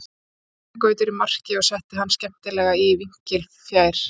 Þá var Árni Gautur í marki og ég setti hann skemmtilega í vinkilinn fjær.